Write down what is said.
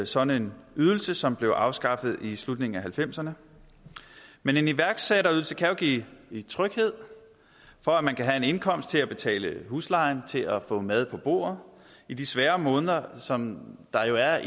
sådan en ydelse som blev afskaffet i slutningen af nitten halvfemserne men en iværksætterydelse kan give tryghed for at man kan have en indkomst til at betale huslejen til at få mad på bordet i de svære måneder som der er